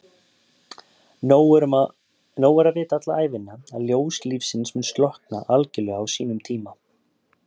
Nóg er að vita alla ævina að ljós lífsins mun slokkna algjörlega á sínum tíma.